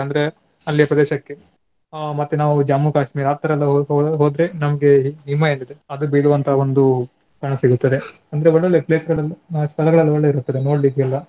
ಅಂದ್ರೆ ಅಲ್ಲಿಯ ಪ್ರದೇಶಕ್ಕೆ ಅಹ್ ಮತ್ತೆ ನಾವು ಜಮ್ಮು ಕಾಶ್ಮೀರ ಆತರೆಲ್ಲ ಹೋ~ ಹೋ~ ಹೋದ್ರೆ ನಮ್ಗೆ ಹಿಮ ಏನಿದೆ ಅದು ಬಿಡುವಂತಹ ಒಂದು ಕಾಣ ಸಿಗುತ್ತದೆ ಅಂದ್ರೆ ಒಳ್ಳೊಳ್ಳೆ place ಗಳಲ್ಲಿ ಸ್ಥಳಗಳೆಲ್ಲಾ ಒಳ್ಳೆದಿರ್ತದೆ ನೋಡ್ಲಿಕ್ಕೆಲ್ಲಾ.